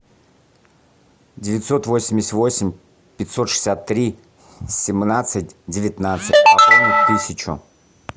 девятьсот восемьдесят восемь пятьсот шестьдесят три семнадцать девятнадцать пополнить тысячу